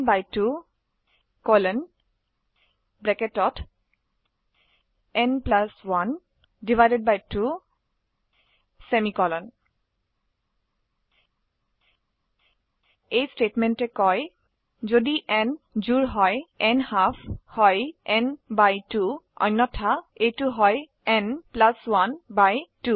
n 2 ন 1 2 semicolon এই স্টেটমেন্টে কয় যদি n জোড় হয় ন্হাল্ফ হয় n ভাগ 2 অন্যথায় এইটি হয় n প্লাস 1 ভাগ 2